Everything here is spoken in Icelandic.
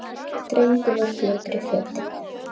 Drengur var fljótur í fötin.